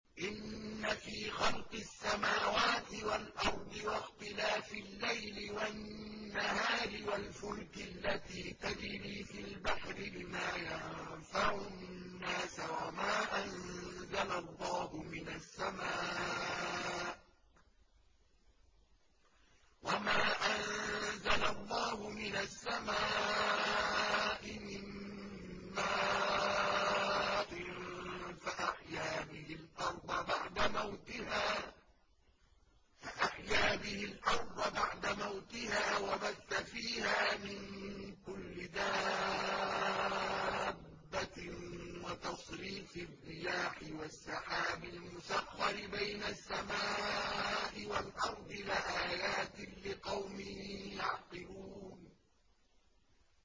إِنَّ فِي خَلْقِ السَّمَاوَاتِ وَالْأَرْضِ وَاخْتِلَافِ اللَّيْلِ وَالنَّهَارِ وَالْفُلْكِ الَّتِي تَجْرِي فِي الْبَحْرِ بِمَا يَنفَعُ النَّاسَ وَمَا أَنزَلَ اللَّهُ مِنَ السَّمَاءِ مِن مَّاءٍ فَأَحْيَا بِهِ الْأَرْضَ بَعْدَ مَوْتِهَا وَبَثَّ فِيهَا مِن كُلِّ دَابَّةٍ وَتَصْرِيفِ الرِّيَاحِ وَالسَّحَابِ الْمُسَخَّرِ بَيْنَ السَّمَاءِ وَالْأَرْضِ لَآيَاتٍ لِّقَوْمٍ يَعْقِلُونَ